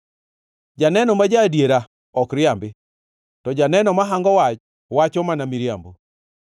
Janeno ma ja-adiera ok riambi, to janeno ma hango wach wacho mana miriambo.